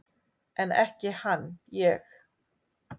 En ekki hann ég!